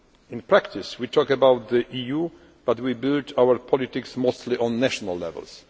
In practice we talk about the EU, but we build our politics mostly on national levels.